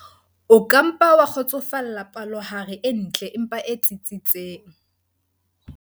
O ka mpa wa kgotsofalla palohare e ntle empa e tsitsitseng.